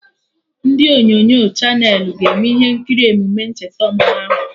Ndị onyonyo Chanelị ga-eme ihe nkiri emume ncheta ọmụmụ ahụ